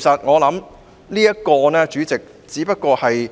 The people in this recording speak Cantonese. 我認為這只是